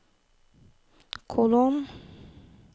kolon